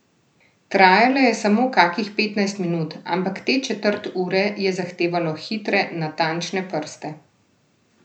Trajala je samo kakih petnajst minut, ampak te četrt ure je zahtevalo hitre, natančne prste.